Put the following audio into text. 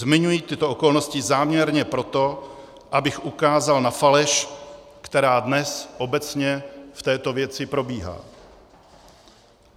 Zmiňuji tyto okolnosti záměrně proto, abych ukázal na faleš, která dnes obecně v této věci probíhá.